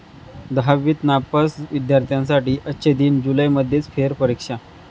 दहावीत नापास विद्यार्थ्यांसाठी 'अच्छे दिन', जुलैमध्येच फेरपरीक्षा